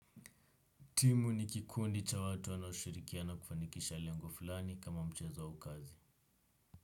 Timu ni kikundi cha watu wanaoshirikiana kufanikisha lengo fulani kama mchezo au kazi.